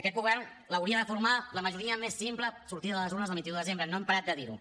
aquest govern l’hauria de formar la majoria més simple sortida de les urnes el vint un de desembre no hem parat de dir ho